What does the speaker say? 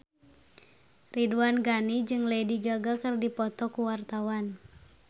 Ridwan Ghani jeung Lady Gaga keur dipoto ku wartawan